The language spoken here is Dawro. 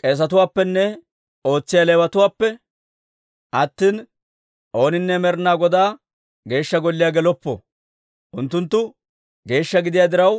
K'eesetuwaappenne ootsiyaa Leewatuwaappe attina, ooninne Med'inaa Godaa Geeshsha Golliyaa geloppo. Unttunttu geeshsha gidiyaa diraw,